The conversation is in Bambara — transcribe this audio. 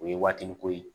O ye waatini ko ye